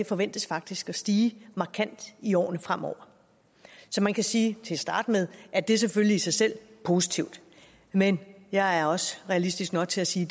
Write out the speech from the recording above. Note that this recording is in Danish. forventes faktisk at stige markant i årene fremover så man kan sige til at starte med at det selvfølgelig i sig selv er positivt men jeg er også realistisk nok til at sige